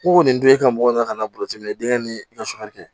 Ko nin don e ka mɔgɔ nana ka na burusikɛnɛn denkɛ ni kɛ